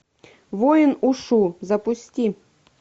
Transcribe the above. воин ушу запусти